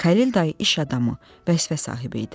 Xəlil dayı iş adamı, vəzifə sahibi idi.